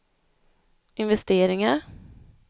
investeringar